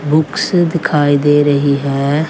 Books दिखाई दे रही है।